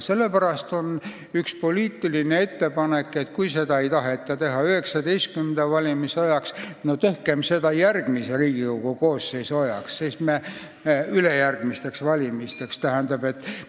Sellepärast on üks poliitiline ettepanek: kui seda ei taheta teha 2019. aasta valimiste ajaks, tehkem seda järgmise Riigikogu koosseisu ajaks, ülejärgmisteks valimisteks!